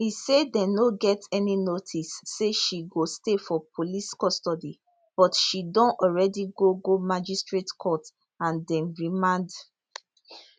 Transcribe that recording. e say dem no get any notice say she go stay for police custody but she don already go go magistrate court and dem remand